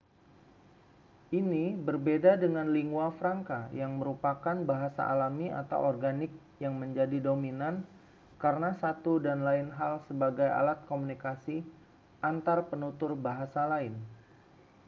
ini berbeda dengan lingua franca yang merupakan bahasa alami atau organik yang menjadi dominan karena satu dan lain hal sebagai alat komunikasi antarpenutur bahasa lain